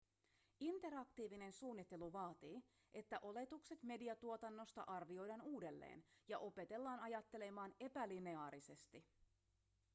interaktiivinen suunnittelu vaatii että oletukset mediatuotannosta arvioidaan uudelleen ja opetellaan ajattelemaan epälineaarisesti